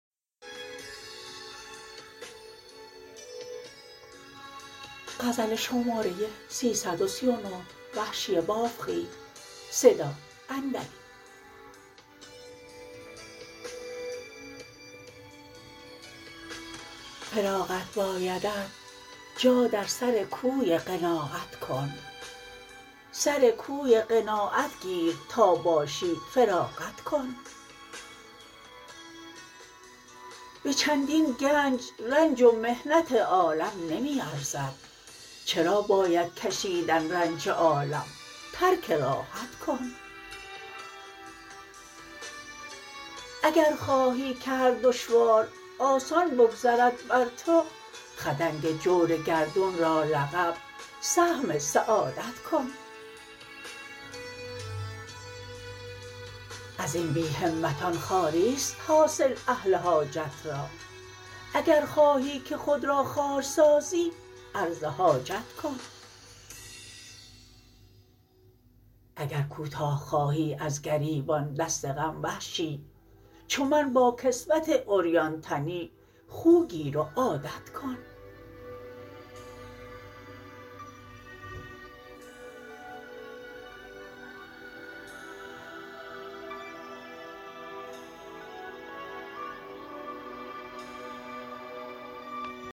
فراغت بایدت جا در سر کوی قناعت کن سر کوی قناعت گیر تا باشی فراغت کن به چندین گنج رنج و محنت عالم نمی ارزد چرا باید کشیدن رنج عالم ترک راحت کن اگر خواهی که هر دشوار آسان بگذرد بر تو خدنگ جور گردون را لقب سهم سعادت کن ازین بی همتان خواریست حاصل اهل حاجت را اگر خواهی که خود را خوارسازی عرض حاجت کن اگر کوتاه خواهی از گریبان دست غم وحشی چو من با کسوت عریان تنی خوگیر و عادت کن